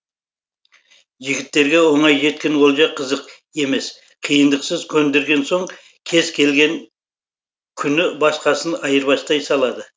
жігіттерге оңай жеткен олжа қызық емес қиындықсыз көндірген соң кез келген күні басқасын айырбастай салады